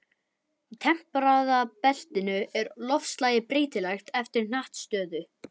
Í tempraða beltinu er loftslagið breytilegt eftir hnattstöðu.